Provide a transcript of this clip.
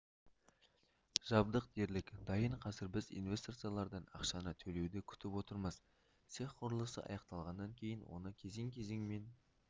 жабдық дерлік дайын қазір біз инвесторлардан ақшаны төлеуді күтіп отырмыз цех құрылысы аяқталғаннан кейін оны кезең-кезеңмен